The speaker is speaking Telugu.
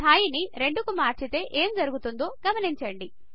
స్థాయిని 2 కు మరిచితే ఏమి జరుగుతుందో గమనించండి